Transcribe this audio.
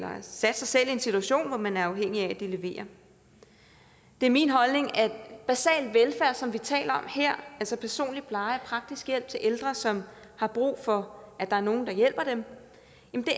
sat sig selv i en situation hvor man er afhængig af at de leverer det er min holdning at basal velfærd som vi taler om her altså personlig pleje og praktisk hjælp til ældre som har brug for at der er nogle der hjælper dem